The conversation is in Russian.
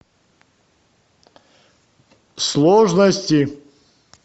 сложности